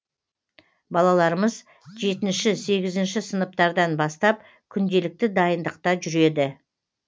балаларымыз жетінші сегізінші сыныптардан бастап күнделікті дайындықта жүреді